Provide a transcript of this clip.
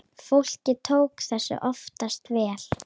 Fólkið tók þessu oftast vel.